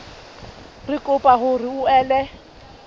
re kopa hore o ele